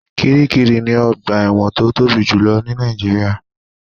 Kiríkirì ni ọgbà ẹ̀wọ̀n tó tóbi jù ní Nàìjíríà.